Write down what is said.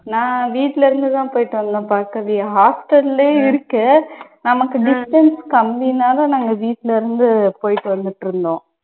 நான் வீட்டுல இருந்து தான் போயிட்டு வந்தேன் பார்கவி. hostel உம் இருக்கு. நமக்கு distance கம்மினால நாங்க வீட்டுல இருந்து போயிட்டு வந்துட்டு இருந்தோம்.